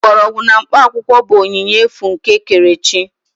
Mgbọrọgwụ na mkpaakwụkwọ bụ onyinye efu nke ekerechi